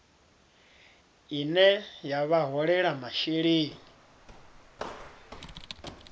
ine ya vha holela masheleni